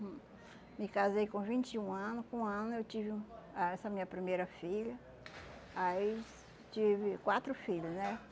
Me casei com vinte e um ano, com um ano eu tive ah essa minha primeira filha, aí tive quatro filho, né?